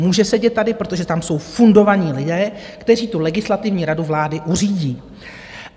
Může sedět tady, protože tam jsou fundovaní lidé, kteří tu Legislativní radu vlády uřídí.